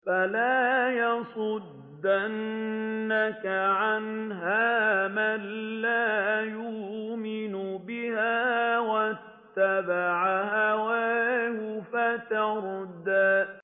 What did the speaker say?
فَلَا يَصُدَّنَّكَ عَنْهَا مَن لَّا يُؤْمِنُ بِهَا وَاتَّبَعَ هَوَاهُ فَتَرْدَىٰ